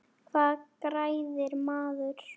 Hvað græðir maður?